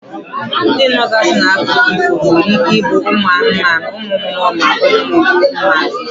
Ndi nọgazi n'akụkọ ifo nwere ike ibu umu anumanu, umu mmuo ma ọ bu umu mmadu.